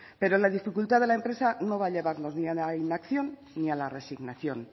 pero la dificultad de la empresa no va a llevarnos ni a la inacción ni a la resignación